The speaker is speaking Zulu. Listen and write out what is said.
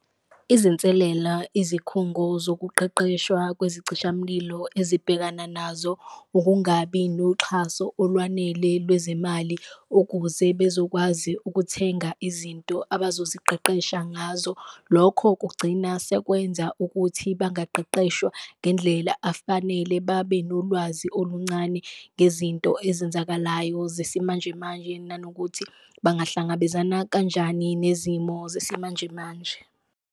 Izinselela izikhungo zokuqeqeshwa kwezicishamlilo ezibhekana nazo ukungabi noxhaso olwanele lwezemali, ukuze bezokwazi ukuthenga izinto abazoziqeqesha ngazo. Lokho kugcina sekwenza ukuthi bangaqeqeshwa ngendlela afanele, babe nolwazi oluncane ngezinto ezenzakalayo zesimanjemanje, nanokuthi bangahlangabezana kanjani nezimo zesimanjemanje.